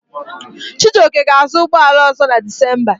Chijioke ga-azụ ụgbọala ọ̀zọ́ na Dizemba.